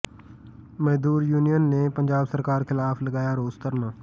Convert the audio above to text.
ਮਜ਼ਦੂਰ ਯੂਨੀਅਨ ਨੇ ਪੰਜਾਬ ਸਰਕਾਰ ਖ਼ਿਲਾਫ਼ ਲਗਾਇਆ ਰੋਸ ਧਰਨਾ